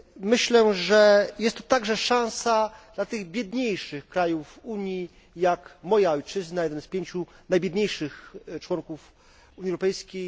Myślę, że jest to także szansa dla tych biedniejszych krajów Unii, jak moja ojczyzna, jeden z pięciu najbiedniejszych członków Unii Europejskiej.